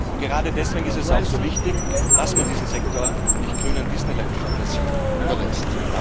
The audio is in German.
Und gerade deswegen ist es auch so wichtig, dass man diesen Sektor nicht grünen Disneyland Fantasien überlässt.